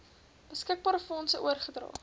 beskikbare fondse oorgedra